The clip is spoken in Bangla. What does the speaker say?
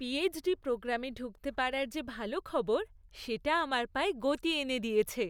পিএইচডি প্রোগ্রামে ঢুকতে পারার যে ভালো খবর, সেটা আমার পায়ে গতি এনে দিয়েছে!